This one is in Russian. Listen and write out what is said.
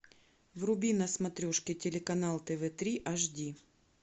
вруби на смотрешке телеканал тв три аш ди